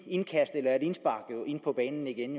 indkast eller et indspark på banen igen